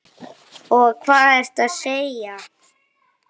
Og hvað ertu að segja?